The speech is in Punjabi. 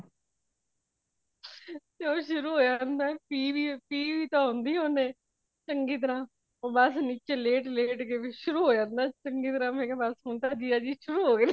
ਉਹ ਸ਼ੁਰੂ ਹੋਇਆ ਹੋਂਦਾ ਪੀ ਵੀ ਤੇ ਹੋਂਦੀ ਓਨੇ ਚੰਗੀ ਤਰਾਂ ਬਸ ਨੀਚੇ ਲੇਟ ਲੇਟ ਸ਼ੁਰੂ ਹੋ ਜਾਂਦਾ ਚੰਗੀਤਰਾ ਮੈਂ ਕਯਾ ਬਸ ਹੁਣ ਤਾ ਜੀਜਾ ਜੀ ਸ਼ੁਰੂ ਹੋਗੇਨੇ।